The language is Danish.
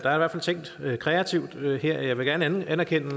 er tænkt kreativt her og jeg vil gerne anerkende